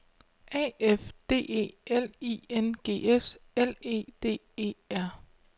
A F D E L I N G S L E D E R